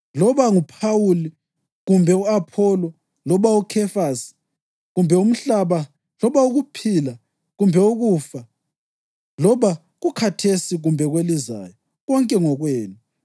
loba nguPhawuli kumbe u-Apholo loba uKhefasi kumbe umhlaba loba ukuphila kumbe ukufa loba kukhathesi kumbe kwelizayo, konke ngokwenu,